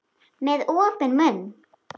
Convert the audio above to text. Með opinn munn.